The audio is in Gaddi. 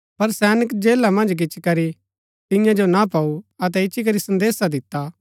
पर सैनक जेला मन्ज गिच्ची करी तियां जो ना पाऊ अतै इच्ची करी संदेसा दिता